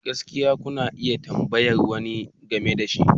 Gaskiya, kuna iya tambayar wani game da shi.